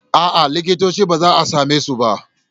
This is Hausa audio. A'a, likitocin ba a same su ba.